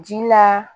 Ji la